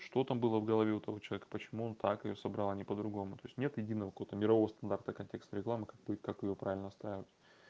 что там было в голове у того человека почему он так её собрал а не по-другому то есть нет единого какого-то мирового стандарта контекстной рекламы как будет как её правильно ставят